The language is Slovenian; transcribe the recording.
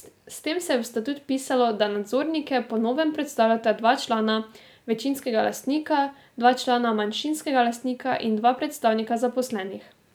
S tem se je v statut vpisalo, da nadzornike po novem predstavljata dva člana večinskega lastnika, dva člana manjšinskega lastnika in dva predstavnika zaposlenih.